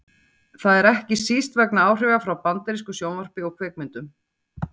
Það er ekki síst vegna áhrifa frá bandarísku sjónvarpi og kvikmyndum.